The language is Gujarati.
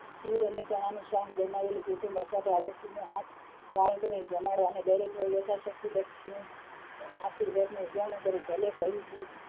ખીર અને ચણા નું શાક બનાવી બધા પાડોશી અને આઠ બાળકો ને જમાડવાં અને દરેક ને યથા શક્તિ દક્ષિણા આપી વ્રત નું ઉજાણું કરવું